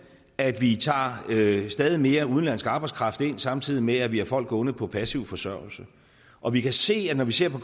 at vi tager stadig mere udenlandsk arbejdskraft ind samtidig med at vi har folk gående på passiv forsørgelse og vi kan se når vi ser på